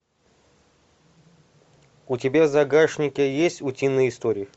у тебя в загашнике есть утиные истории